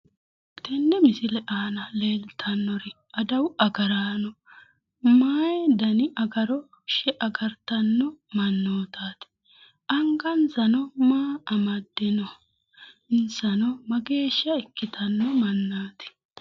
Tenne misile aana leeltannori adawu agaranno may dani agaroshe agartanno mannotaati? Angansano maa amadde no?insano mageeshsha ikkitanno mannaati?